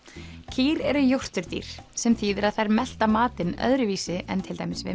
kýr eru jórturdýr sem þýðir að þær melta matinn öðruvísi en til dæmis við